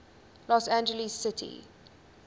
los angeles city